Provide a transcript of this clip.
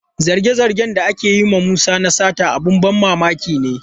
Zarge-zargen da ake yi wa Musa na sata abin ban mamaki ne.